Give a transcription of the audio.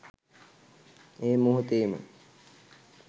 එම මොහොතේ ම